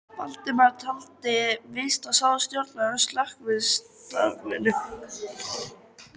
Valdimar taldi víst að sá stjórnaði slökkvistarfinu.